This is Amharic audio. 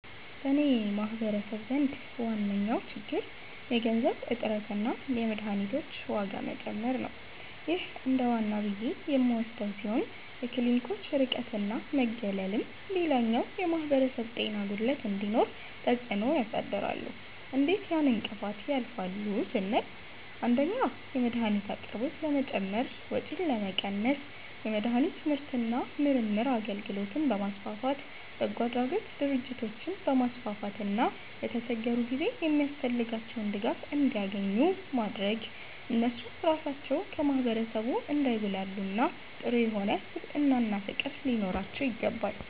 በኔ ማህበረሰብ ዘንድ ዋነኛዉ ችግር የገንዘብ እጥረትና የመድሀኒቶች ዋጋ መጨመር ነዉ ይህ እንደዋና ብዬ የምወስደዉ ሲሆን የክሊኒኮች ርቀትና መገለልም ሌላኛዉ የማህበረሰብ ጤና ጉድለት እንዲኖር ተፅእኖ ያሳድራሉ እንዴት ያን እንቅፋት ያልፋሉ ስንል 1)የመድሀኒት አቅርቦት ለመጨመር ወጪን ለመቀነስ የመድሀኒት ምርትና ምርምር አገልግሎትን በማስፋፋት፣ በጎአድራጎት ድርጅቶችን በማስፋፋትና በተቸገሩ ጊዜ የሚያስፈልጋቸዉን ድጋፍ እንዲያኙ ኙ በማድረግ እነሱ ራሳቸዉ ከማህበረሰቡ እንዳይጉላሉና ጥሩ የሆነ ስብዕናና ፍቅር ሊኖራቸዉ ይገባል።